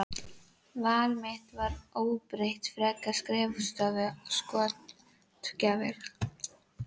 Val mitt var óbreytt, frekar skrifstofu en skotgrafir.